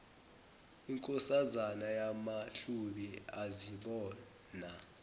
inkosazana yamahlubi azibona